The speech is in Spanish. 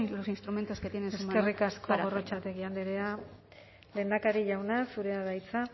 los instrumentos que tiene en este momento para eskerrik asko gorrotxategi andrea lehendakari jauna zurea da hitza